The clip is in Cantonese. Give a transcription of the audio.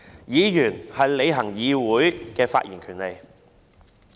議員是行使在議會內發言的權利。